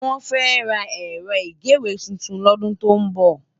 Wòn fè rá èrò igéwé tútún lòdún tó n bò